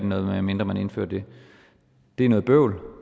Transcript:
noget medmindre man indfører det det er noget bøvl